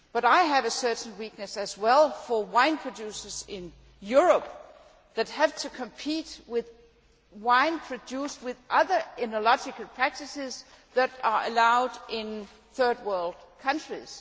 However, I have a certain sympathy as well for wine producers in Europe who have to compete with wine produced by other oenological practices that are allowed in Third World countries.